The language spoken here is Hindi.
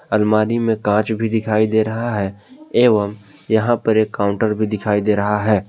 अलमारी में कांच भी दिखाई दे रहा है एवं यहां पर एक काउंटर भी दिखाई दे रहा है।